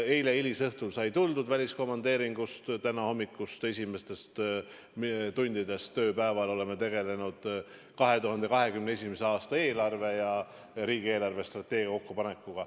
Eile hilisõhtul sai tuldud väliskomandeeringust ning täna hommikul, tööpäeva esimestel tundidel oleme tegelenud 2021. aasta eelarve ja riigi eelarvestrateegia kokkupanekuga.